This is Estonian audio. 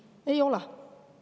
Ei ole!